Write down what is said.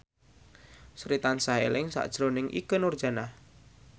Sri tansah eling sakjroning Ikke Nurjanah